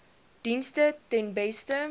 dienste ten beste